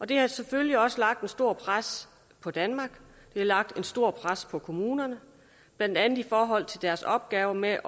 det har selvfølgelig også lagt et stort pres på danmark det har lagt et stort pres på kommunerne blandt andet i forhold til deres opgave med at